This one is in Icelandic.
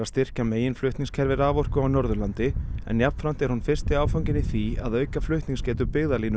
styrkja meginflutningskerfi raforku á Norðurlandi en jafnframt er hún fyrsti áfanginn í því að auka flutningsgetu